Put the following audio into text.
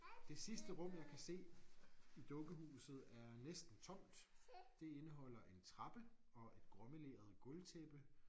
Det sidste rum jeg kan se i dukkehuset er næsten tomt det indeholder en trappe og et gråmeleret gulvtæppe